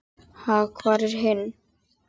Ha, hvar er hinn?